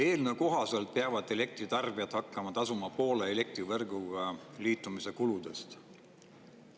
Eelnõu kohaselt peavad elektritarbijad hakkama tasuma poole elektrivõrguga liitumise kuludest.